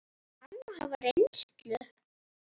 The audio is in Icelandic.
Þarf hann að hafa reynslu?